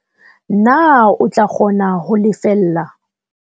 Na o tla kgona ho lefella?